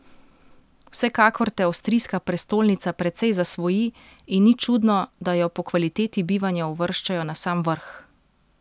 Vsekakor te avstrijska prestolnica precej zasvoji in ni čudno, da jo po kvaliteti bivanja uvrščajo na sam vrh.